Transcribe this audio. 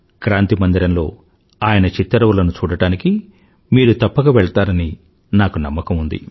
క్రాంతి మందిరంలో ఆయన చిత్తరువులను చూడడానికి మీరు తప్పక వెళ్తారని నాకు నమ్మకం ఉంది